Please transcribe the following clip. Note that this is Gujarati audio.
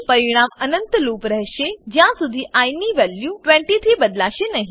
પરિણામ અનંત લૂપ રહેશે જ્યાં સુધી આઇ ની વેલ્યુ 20 થી બદલાશે નહી